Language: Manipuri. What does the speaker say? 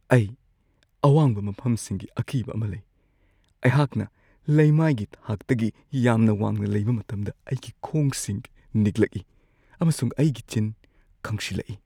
ꯑꯩ ꯑꯋꯥꯡꯕ ꯃꯐꯝꯁꯤꯡꯒꯤ ꯑꯀꯤꯕ ꯑꯃ ꯂꯩ꯫ ꯑꯩꯍꯥꯛꯅ ꯂꯩꯃꯥꯏꯒꯤ ꯊꯥꯛꯇꯒꯤ ꯌꯥꯝꯅ ꯋꯥꯡꯅ ꯂꯩꯕ ꯃꯇꯝꯗ ꯑꯩꯒꯤ ꯈꯣꯡꯁꯤꯡ ꯅꯤꯛꯂꯛꯏ, ꯑꯃꯁꯨꯡ ꯑꯩꯒꯤ ꯆꯤꯟ ꯀꯪꯁꯤꯜꯂꯛꯏ꯫